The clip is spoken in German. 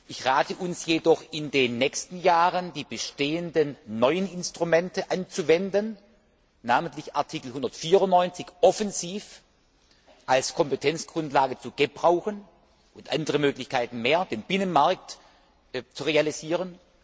Ich rate uns jedoch, in den nächsten Jahren die bestehenden neuen Instrumente anzuwenden, namentlich Artikel 194 offensiv als Kompetenzgrundlage zu gebrauchen und andere Möglichkeiten mehr, um den Binnenmarkt zu realisieren.